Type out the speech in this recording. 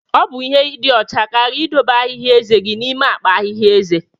Ọ bụ ihe ịdị ọcha karịa ịdobe ahihia ezé gị n'ime akpa ahịhịa ezé.